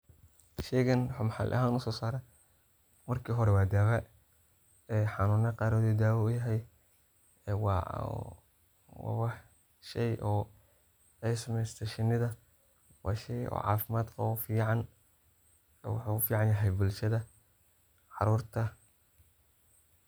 sheygan oo maxali ahan uso saare, marka hore waa daawa ee xanuuna qar ayu daawa uyahay ee waa wax shey oo ay sameesate shinida waa shey oo caafimad qabo fican, wuxuu ufican yahay bulshada, carurta